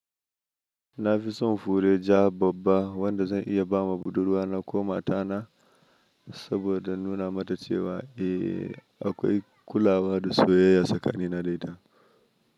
Na fi son fure ja babba wadda zan iya ba ma budurwa na ko mata na saboda nuna mata cewa eh akwai kulawa da soyayya tsakanin na da ita.